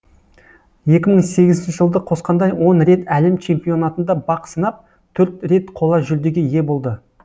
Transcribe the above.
екі мың сегізінші жылды қосқанда он рет әлем чемпионатында бақ сынап төрт рет қола жүлдеге ие болды